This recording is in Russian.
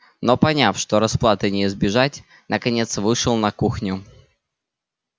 но поняв что расплаты не избежать наконец вышел на кухню